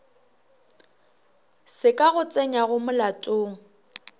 se ka go tsenyago molatong